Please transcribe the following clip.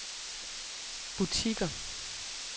butikker